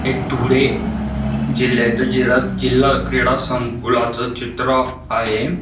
हे धुळे जिल्ह्या जिल्हा जिल्हा क्रीडा संकुलाच चित्र आहे.